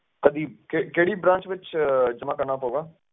ਕਿਹੜੀ branch ਵਿਚ ਜਮਾ ਕਰਨਾ ਪਾਊਗਾ